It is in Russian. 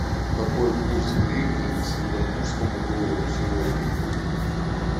какой курс гривны к сингапурскому доллару сегодня